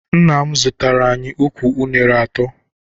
Nna m zụtara anyị ukwu unere atọ.